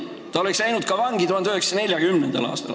Ta oleks läinud vangi ka 1940. aastal.